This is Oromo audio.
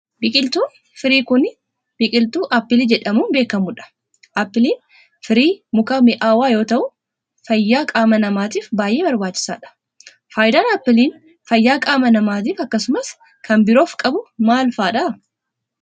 Biqiltuun firii kun, biqiltuu appilii jedhamuun beekamuu dha. Appiliin firii mukaa mi'aawaa yoo ta'u ,fayyaa qaama namaatif baay'ee barbaachisaa dha. Faayidaan appiliin fayyaa qaama namaatif akkasumas kan biroof qabu maal faa dha?